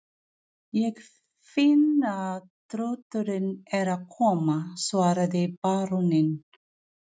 Ég finn að þrótturinn er að koma, svaraði baróninn.